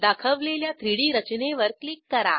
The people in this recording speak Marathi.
दाखवलेल्या 3डी रचनेवर क्लिक करा